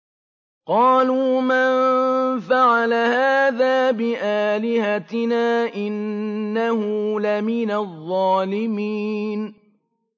قَالُوا مَن فَعَلَ هَٰذَا بِآلِهَتِنَا إِنَّهُ لَمِنَ الظَّالِمِينَ